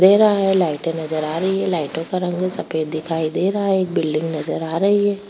दे रहा है लाइटे नजर आ रही है लाइटो का रंग सफ़ेद दिखाई दे रहा है एक बिल्डिंग नजर आ रही है।